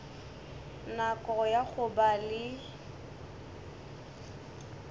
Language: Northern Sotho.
nako ya go ba le